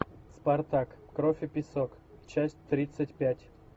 спартак кровь и песок часть тридцать пять